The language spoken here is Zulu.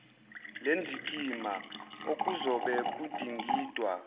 lendikimba okuzobe kudingidwa